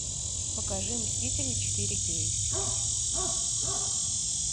покажи мстители четыре кей